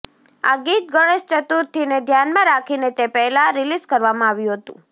આ ગીત ગણેશ ચતુર્થીને ધ્યાનમાં રાખીને તે પહેલા રિલીઝ કરવામાં આવ્યું છે